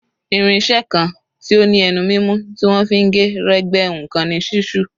Irin-iṣẹ́ kan tí ó ní ẹnu mímú tí wọ́n fi ń gé, rẹ́, gbẹ́ nǹkan ni ṣísù.